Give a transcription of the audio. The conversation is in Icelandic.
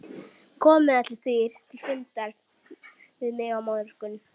Komið allir þrír til fundar við mig á morgun.